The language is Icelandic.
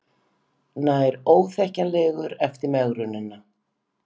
Nær óþekkjanlegur eftir megrunina